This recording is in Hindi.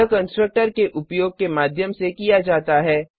यह कंस्ट्रक्टर के उपयोग के माध्यम से किया जाता है